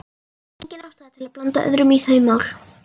Engin ástæða til að blanda öðrum í þau mál.